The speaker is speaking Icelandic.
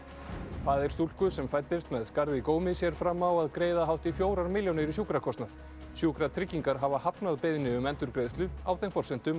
faðir stúlku sem fæddist með skarð í gómi sér fram á að greiða hátt í fjórar milljónir í sjúkrakostnað sjúkratryggingar hafa hafnað beiðni um endurgreiðslu á þeim forsendum að